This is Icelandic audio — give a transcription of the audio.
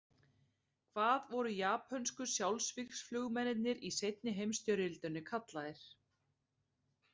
Hvað voru japönsku sjálfsvígsflugmennirnir í seinni heimsstyrjöldinni kallaðir?